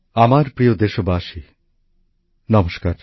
আমার প্রিয় দেশবাসী নমস্কার